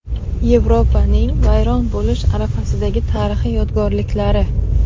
Yevropaning vayron bo‘lish arafasidagi tarixiy yodgorliklari .